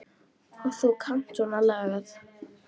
Og þú kannt á svona lagað.